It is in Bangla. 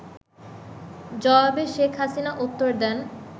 জবাবে শেখ হাসিনা উত্তর দেন